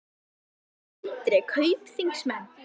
Sindri: Kaupþingsmenn?